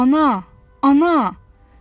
Ana, ana!